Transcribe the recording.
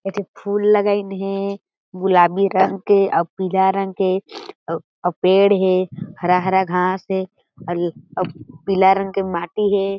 एक ठी फूल लगाईन हें गुलाबी रंग के अउ पीला रंग के अउ पेड़ हें हरा-हरा घास हें अउ पीला रंग के माटी हें।